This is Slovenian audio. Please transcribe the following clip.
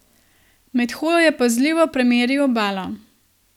Med hojo je pazljivo premeril obalo.